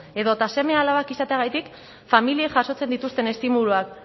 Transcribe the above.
edota seme alabak izateagatik familiei jasotzen dituzten estimuluak